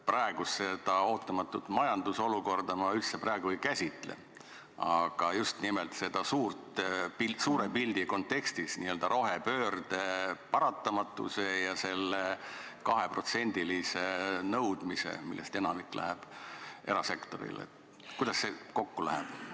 Praegust ootamatut majandusolukorda ma üldse ei käsitle, aga just nimelt selle n-ö suure pildi kontekstis rohepöörde paratamatus ja see 2%, millest enamik läheb erasektorile – kuidas see kokku läheb?